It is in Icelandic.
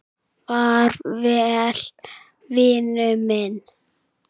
Far vel, vinur minn.